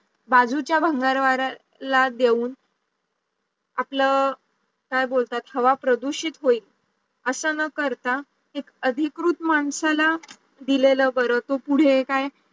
बाजूच्या भंगारवाल्याला देऊन आपल काय बोलतात हवा प्रदूषित होईल असं न करता ती अधिकृत माणसाला दिलेलं बर तो पुढे काय